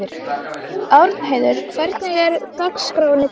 Árnheiður, hvernig er dagskráin í dag?